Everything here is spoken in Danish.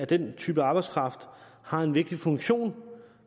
den type arbejdskraft har en vigtig funktion